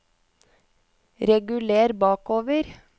reguler bakover